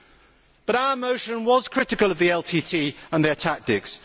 However, our motion was critical of the LTTE and their tactics.